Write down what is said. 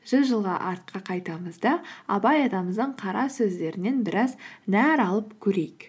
жүз жылға артқа қайтамыз да абай атамыздың қара сөздерінен біраз нәр алып көрейік